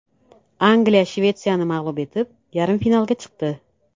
Angliya Shvetsiyani mag‘lub etib, yarim finalga chiqdi.